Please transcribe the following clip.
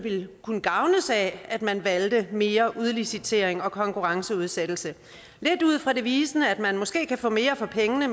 kunne gavnes af at man valgte mere udlicitering og konkurrenceudsættelse lidt ud fra devisen om at man måske kan få mere for pengene